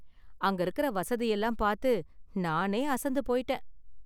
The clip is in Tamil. அங்க இருக்குற வசதியெல்லாம் பாத்து நானே அசந்து போயிட்டேன்.